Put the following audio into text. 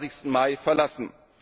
25. Mai verlassen.